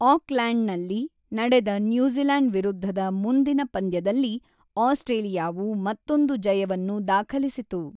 Auckland ನಲ್ಲಿ ನಡೆದ New Zealand ವಿರುದ್ಧದ ಮುಂದಿನ ಪಂದ್ಯದಲ್ಲಿ ಆಸ್ಟ್ರೇಲಿಯಾವು ಮತ್ತೊಂದು ಜಯವನ್ನು ದಾಖಲಿಸಿತು.